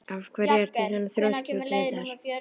Af hverju ertu svona þrjóskur, Grétar?